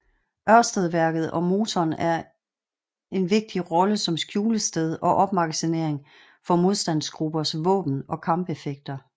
Ørstedværket og motoren en vigtig rolle som skjulested og opmagasinering for modstandsgruppers våben og kampeffekter